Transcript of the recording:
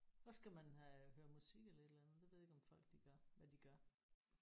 Så skal man have høre musik eller et eller andet det ved jeg ikke om folk de gør hvad de gør